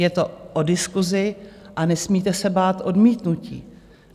Je to o diskusi a nesmíte se bát odmítnutí.